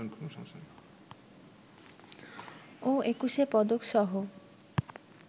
ও একুশে পদকসহ